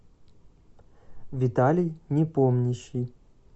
виталий непомнящий